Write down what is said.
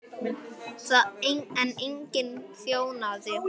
En enginn þjónaði honum.